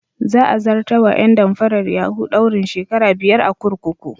Za a zartar wa ƴan damfarar yahu daurin shekara biyar a kurkuku.